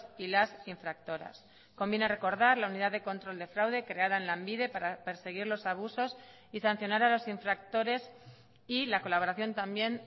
y las infractoras conviene recordar la unidad de control de fraude creada en lanbide para perseguir los abusos y sancionar a los infractores y la colaboración también